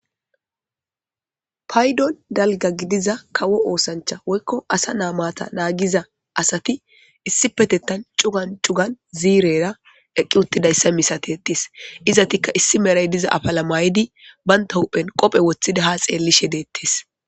Paydon dalga gidiza kawo osancha woyko asa na'ay mata nagiza asati issipetetan c'ugan c'ugan zirera eqi utidaysa misatetes ezetika issi meray diza afala mayidi banta huphen qophe wotidi ha xelishe detes.